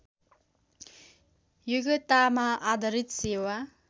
योग्यतामा आधारित सेवा